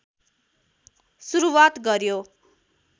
सुरुवात गर्‍यो